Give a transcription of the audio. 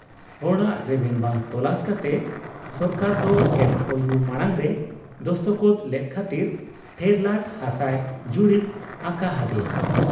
ᱦᱚᱲᱟᱜ ᱨᱮᱵᱮᱱ ᱵᱟᱝ ᱛᱚᱞᱟᱥ ᱠᱟᱛᱮ ᱥᱚᱨᱠᱟᱨ ᱫᱚ MOU ᱢᱟᱬᱟᱝ ᱨᱮᱭ ᱫᱚᱥᱠᱚᱛ ᱞᱮᱫ ᱠᱷᱟᱹᱛᱤᱨ ᱴᱷᱮᱨᱞᱟᱴ ᱦᱟᱥᱟᱭ ᱡᱩᱨᱤᱵᱽ ᱟᱠᱟ ᱦᱟᱫᱮᱭᱟ ᱾